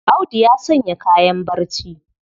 Audu ya sanya kayan barci.